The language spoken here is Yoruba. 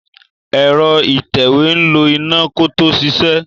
Ẹ̀rọ ìtẹ̀wé ń lo iná kó tó ṣiṣẹ́.